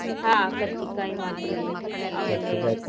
ಆಹ್ ಕರ್ಚಿಕಾಯಿ ಮಾಡ್ತೀವಿ .